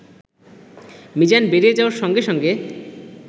মিজান বেরিয়ে যাওয়ার সঙ্গে সঙ্গে